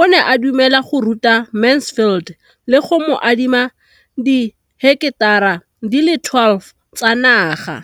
o ne a dumela go ruta Mansfield le go mo adima di heketara di le 12 tsa naga.